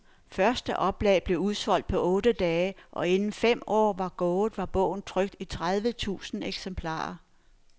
Første oplag blev udsolgt på otte dage, og inden fem år var gået, var bogen trykt i tredive tusind eksemplarer.